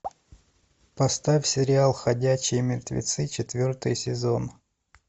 поставь сериал ходячие мертвецы четвертый сезон